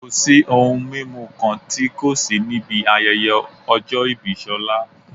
Kò sí ohun mímu kan tí kò sí níbi ayẹyẹ ọjọ́ ìbí Ṣọlá